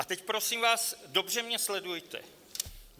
A teď, prosím vás, dobře mě sledujte.